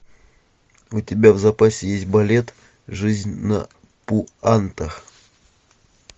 у тебя в запасе есть балет жизнь на пуантах